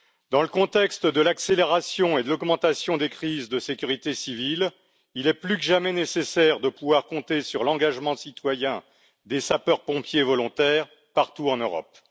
Dans le contexte de l'accélération et de l'augmentation des crises de sécurité civile, il est plus que jamais nécessaire de pouvoir compter sur l'engagement citoyen des sapeurs pompiers volontaires partout en Europe.